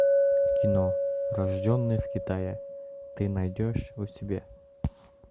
кино рожденные в китае ты найдешь у себя